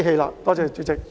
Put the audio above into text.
多謝代理主席。